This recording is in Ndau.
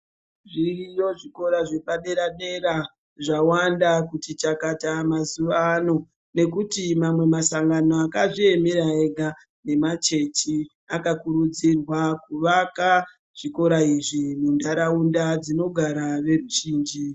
Zviriyo zvikora zvepadera-dera zvawanda kuti chakata mazuva ano nekuti mamwe masangano akazviemera ega nemachechi akakurudzirwa kuvaka chikora izvi mundaraunda dzinogara veruzhinji.